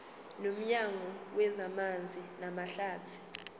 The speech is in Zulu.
nomnyango wezamanzi namahlathi